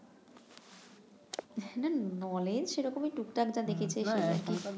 না সেরকমই টুকটাক যা দেখেছি সেগুলো একটু